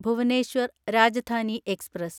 Bhubaneswar Rajdhani express